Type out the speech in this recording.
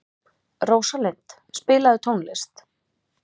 Rósalind, spilaðu tónlist.